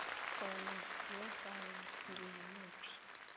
khona yanofana ngimuphi